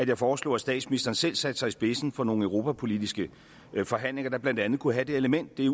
jeg foreslog at statsministeren selv satte sig i spidsen for nogle europapolitiske forhandlinger der blandt andet kunne have det element det